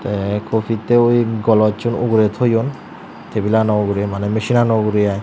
te coffeette oi golochun ugure thoyun table ano uguri mane machine ano uguri iy.